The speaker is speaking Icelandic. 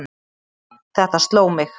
Þetta sló mig.